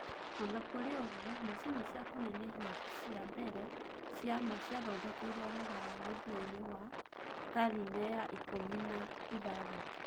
O na kũrĩ ũguo, macini cia kũnenehia cia mbere cia ma ciathondekirũo Rũraya mũthia-inĩ wa karine ya ikũmi na ithathatũ